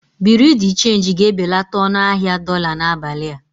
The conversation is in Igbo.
Bureau de change ga-ebelata ọnụ ahịa dolá n'abalị a.